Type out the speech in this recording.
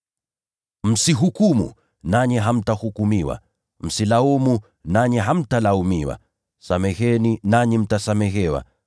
“Msihukumu, nanyi hamtahukumiwa. Msilaumu, nanyi hamtalaumiwa. Sameheni, nanyi mtasamehewa.